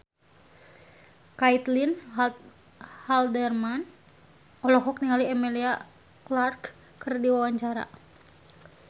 Caitlin Halderman olohok ningali Emilia Clarke keur diwawancara